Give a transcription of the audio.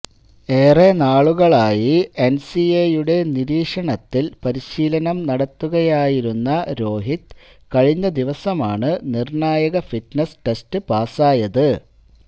ഏറെ നാളുകളായി എന്സിഎയുടെ നിരീക്ഷണത്തില് പരിശീലനം നടത്തുകയായിരുന്ന രോഹിത് കഴിഞ്ഞ ദിവസമാണ് നിര്ണ്ണായക ഫിറ്റ്നസ് ടെസ്റ്റ് പാസായത്